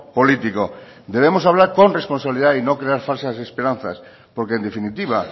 político debemos hablar con responsabilidad y no crear falsas esperanzas porque en definitiva